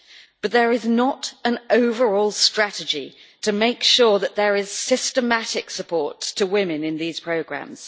But there is not an overall strategy to make sure that there is systematic support to women in these programmes.